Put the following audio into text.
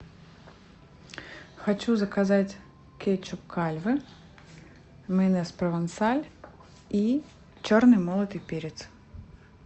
хочу заказать кетчуп кальве майонез провансаль и черный молотый перец